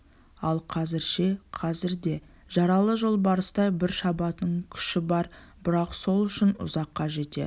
ал қазір ше қазір де жаралы жолбарыстай бір шабатын күші бар бірақ сол күші ұзаққа жетер